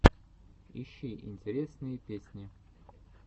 ищи интересные песни